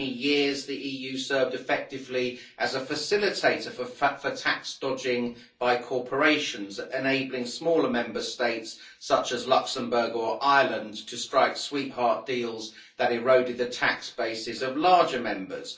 For many years the EU served effectively as a facilitator for tax dodging by corporations, enabling smaller Member States, such as Luxembourg or Ireland, to strike sweetheart deals that eroded the tax bases of larger members.